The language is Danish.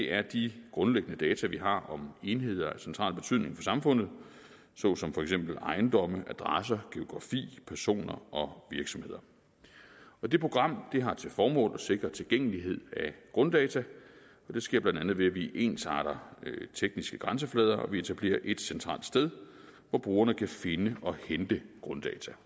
er de grundlæggende data vi har om enheder af central betydning for samfundet såsom for eksempel ejendomme adresser geografi personer og virksomheder det program har til formål at sikre tilgængelighed af grunddata og det sker bla ved at vi ensarter tekniske grænseflader og vi etablerer ét centralt sted hvor brugerne kan finde og hente grunddata